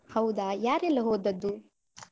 ಹೌದಾ, ಯಾರೆಲ್ಲ ಹೋದದ್ದು?